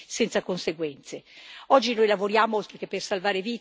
Io penso che queste cose non possono rimanere senza conseguenze.